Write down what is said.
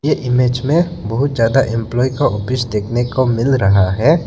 Image में बहुत ज्यादा एम्पलाई का ऑफिस देखने को मिल रहा है।